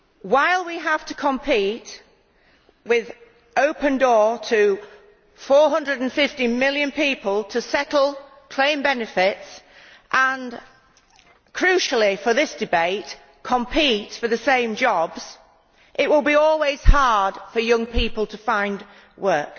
While we have to compete with an open door to 450 million people to settle claim benefits and, crucially for this debate, compete for the same jobs, it will always be hard for young people to find work.